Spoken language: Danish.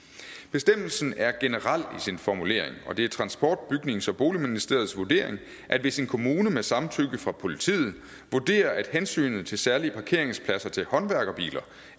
bestemmelsen er generel i sin formulering og det er transport bygnings og boligministeriets vurdering at hvis en kommune med samtykke fra politiet vurderer at hensynet til særlige parkeringspladser til håndværkerbiler